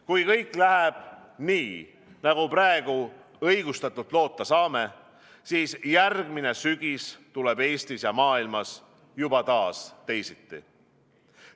Kui kõik läheb nii, nagu praegu õigustatult loota saame, siis järgmine sügis tuleb Eestis ja maailmas juba taas teisiti.